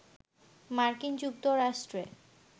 মার্কিন যুক্তরাষ্ট্রে